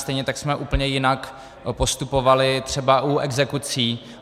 Stejně tak jsme úplně jinak postupovali třeba u exekucí.